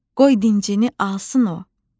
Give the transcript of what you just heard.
Qoy dincini alsın o.